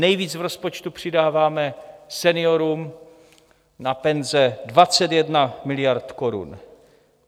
Nejvíc v rozpočtu přidáváme seniorům na penze 21 miliard korun.